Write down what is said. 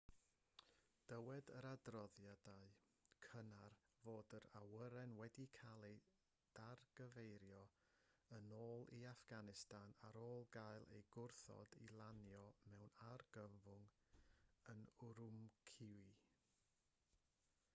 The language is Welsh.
dywed yr adroddiadau cynnar fod yr awyren wedi cael ei dargyfeirio yn ôl i affganistan ar ôl cael ei gwrthod i lanio mewn argyfwng yn ürümqi